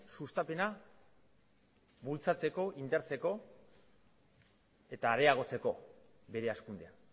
sustapena bultzatzeko indartzeko eta areagotzeko bere hazkundea